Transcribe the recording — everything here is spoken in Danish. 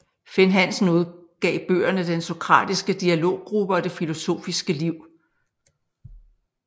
Finn Hansen udgav bøgerne Den sokratiske dialoggruppe og Det filosofiske liv